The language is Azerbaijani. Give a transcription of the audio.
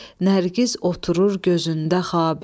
Nərgiz oturur gözündə xabi.